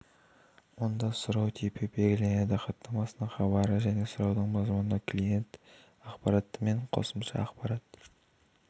онда сұрау типі белгіленеді хаттамасының хабары және сұраудың мазмұны клиент ақпараты мен қосымша ақпарат